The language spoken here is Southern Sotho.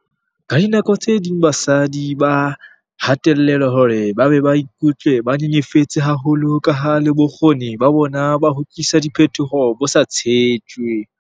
Ka dinako tse ding basadi ba hatellelwa hore ba be ba ikutlwe ba nyenyefetse haholo kaha le bokgoni ba bona ba ho tlisa diphetoho bo sa tshetjwe.